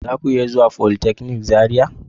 Zaku iya zuwa folytechnic Zaria.